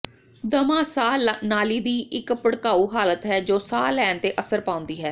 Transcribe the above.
ਦਮਾ ਸਾਹ ਨਾਲੀ ਦੀ ਇੱਕ ਭੜਕਾਊ ਹਾਲਤ ਹੈ ਜੋ ਸਾਹ ਲੈਣ ਤੇ ਅਸਰ ਪਾਉਂਦੀ ਹੈ